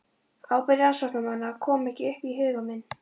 Ábyrgð rannsóknarmanna kom ekki upp í huga minn.